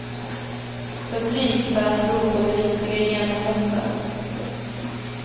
För blyg för att tro på det riktiga genombrottet.